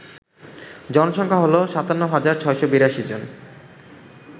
জনসংখ্যা হল ৫৭৬৮২ জন